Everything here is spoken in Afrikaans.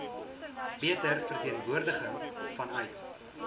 beter verteenwoordiging vanuit